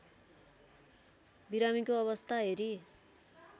बिरामीको अवस्था हेरी